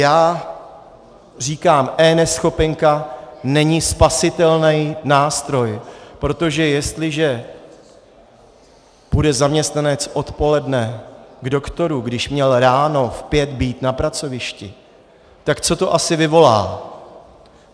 Já říkám, eNeschopenka není spasitelný nástroj, protože jestliže půjde zaměstnanec odpoledne k doktoru, když měl ráno v pět být na pracovišti, tak co to asi vyvolá?